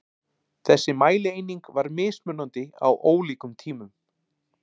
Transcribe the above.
þessi mælieining var mismunandi á ólíkum tímum